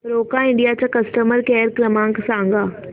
Roca India चा customer care क्रमांक सांगा